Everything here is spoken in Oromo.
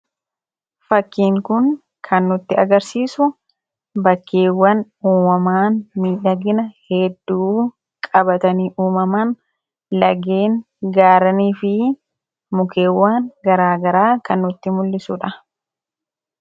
fakkiin kun kannutti agarsiisu bakkeewwan uumamaan miidhagina hedduu qabatanii uumamaan lageen gaaranii fi mukeewwan garaagaraa kan nutti mul'isuudha